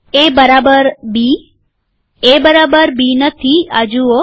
એ બરાબર બીએ બરાબર બી નથી આ જુઓ